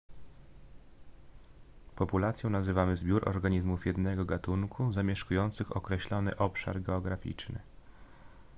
populacją nazywany zbiór organizmów jednego gatunku zamieszkujących określony obszar geograficzny